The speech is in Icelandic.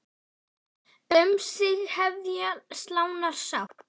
Um sig hefja slánar slátt.